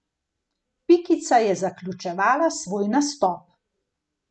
Pikica je zaključevala svoj nastop.